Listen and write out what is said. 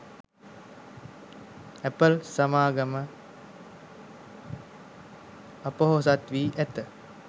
Apple සමාගම අපොහොසත් වී ඇත